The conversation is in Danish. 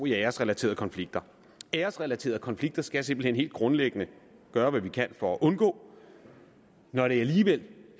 i æresrelaterede konflikter æresrelaterede konflikter skal vi simpelt hen helt grundlæggende gøre hvad vi kan for at undgå når det alligevel